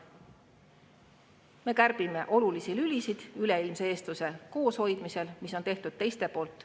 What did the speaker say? Me kärbime üleilmse eestluse kooshoidmise olulisi lülisid, mis on tehtud teiste poolt.